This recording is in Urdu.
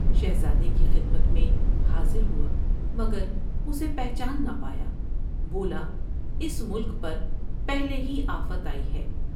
شہزادے کی خدمت میں حاضر ہوا مگر اسے پہچان نہ پایا ، بولا '' اس ملک پر پہلے ہی آفت آئی ہے ۔